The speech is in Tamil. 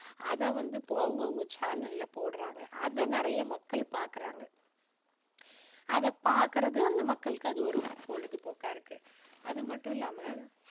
அதை வந்து அவங்கவங்க channel ல போடுறாங்க. அதை நிறைய மக்கள் பார்க்குறாங்க. . அதை பார்க்குறது அந்த மக்களுக்கு அது ஒரு பொழுதுபோக்கா இருக்கு. அது மட்டும் இல்லாம